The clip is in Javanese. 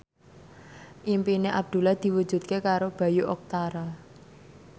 impine Abdul diwujudke karo Bayu Octara